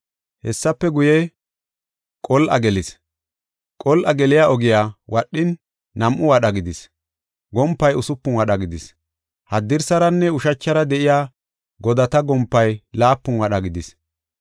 Hessafe guye, qol7a gelis. Qol7a geliya ogiya wadhin, nam7u wadha gidis; gompay usupun wadha gidis; haddirsaranne ushachara de7iya godata gompay laapun wadha gidis.